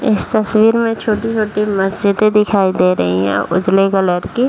इस तस्वीर में छोटी-छोटी मस्जिदे दिखाई दे रही है उजले कलर की।